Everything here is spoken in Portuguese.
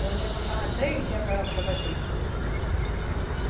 Nós ia, passava três dias para lá, para Tabatinga.